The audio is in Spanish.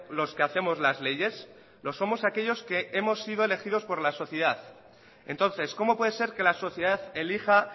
los que hacemos las leyes lo somos aquellos que hemos sido elegidos por la sociedad entonces cómo puede ser que la sociedad elija